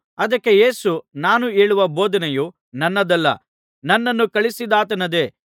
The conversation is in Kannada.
ಅದಕ್ಕೆ ಯೇಸು ನಾನು ಹೇಳುವ ಬೋಧನೆಯು ನನ್ನದಲ್ಲ ನನ್ನನ್ನು ಕಳುಹಿಸಿದಾತನದೇ